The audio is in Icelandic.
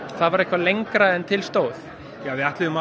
það var lengra en til stóð við ætluðum að